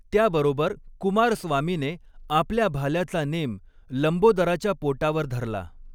त्या बरोबर कुमारस्वामीने आपल्या भाल्याचा नेम लंबोदराच्या पोटावर धरला.